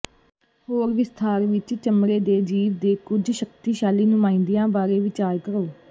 ਹੋਰ ਵਿਸਥਾਰ ਵਿੱਚ ਚਮੜੇ ਦੇ ਜੀਵ ਦੇ ਕੁਝ ਸ਼ਕਤੀਸ਼ਾਲੀ ਨੁਮਾਇੰਦਿਆਂ ਬਾਰੇ ਵਿਚਾਰ ਕਰੋ